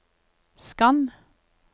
skann